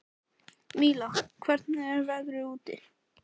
Míla, hvernig er veðrið úti?